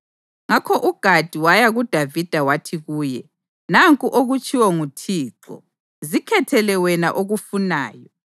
Ngakho uGadi waya kuDavida wathi kuye, “Nanku okutshiwo nguThixo: ‘Zikhethele wena okufunayo: